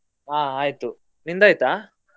ಹಾ ಆಯ್ತು, ನಿಂದ್ ಆಯ್ತಾ?